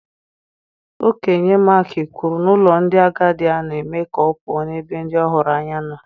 Okenye Maakị kwuru na ụlọ ndị agadi a na-eme ka ọ pụọ n'ebe ndị ọ hụrụ n'anya nọ.